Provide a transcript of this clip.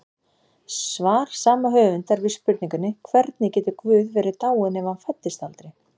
Svar sama höfundar við spurningunni Hvernig getur Guð verið dáinn ef hann fæddist aldrei?